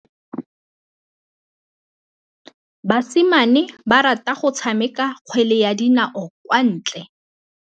Basimane ba rata go tshameka kgwele ya dinaô kwa ntle.